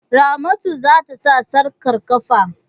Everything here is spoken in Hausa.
Ramatu za ta sa sarƙar ƙafa.